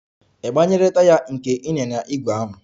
Ị gbanyere taya nke ịnyịnya ígwè ahụ?